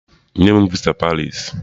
Nye m visa Paris!